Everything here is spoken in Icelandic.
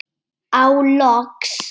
Og loks.